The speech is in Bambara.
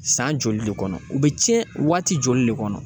San joli le kɔnɔ u bɛ tiɲɛ waati joli le kɔnɔ?